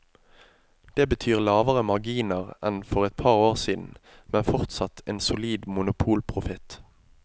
Det betyr lavere marginer enn for et par år siden, men fortsatt en solid monopolprofitt.